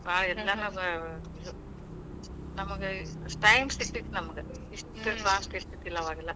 ನಮಗ time ಸಿಗ್ತಿತ್ ನಮಗ. ಇಷ್ಟ fast ಇದ್ದಿಲ್ಲಾ.